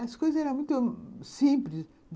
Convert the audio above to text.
As coisas eram muito simples.